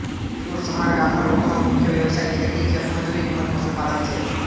સુરસમાળ ગામના લોકોનો મુખ્ય વ્યવસાય ખેતી ખેતમજૂરી તેમ જ પશુપાલન છે